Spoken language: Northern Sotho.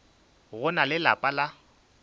go na le lapa la